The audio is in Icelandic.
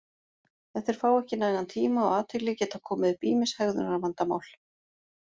Ef þeir fá ekki nægan tíma og athygli geta komið upp ýmis hegðunarvandamál.